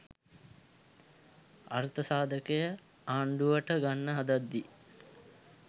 අර්ථසාධකය ආණ්ඩුවට ගන්න හදද්දී